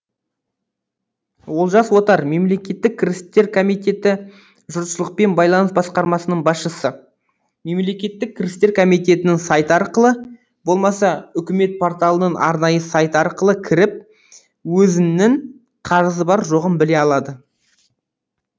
олжас отар мемлекеттік кірістер комитеті жұртшылықпен байланыс басқармасының басшысы мемлекеттік кірістер комитетінің сайты арқылы болмаса үкімет порталының арнайы сайты арқылы кіріп өзінің қарызы бар жоғын біле алады